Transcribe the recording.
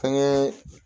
Fɛnkɛ